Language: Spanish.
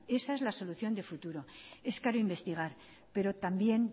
esa es la solución de futuro es para investigar pero también